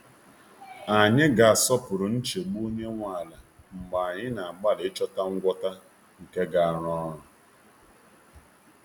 Anyị ga-asọpụrụ nchegbu onye nwe ala mgbe anyị na-agbalị ịchọta ngwọta nke ga-arụ ọrụ.